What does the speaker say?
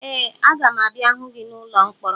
Ee, aga m abịa hụ gị n'ụlọ mkpọrọ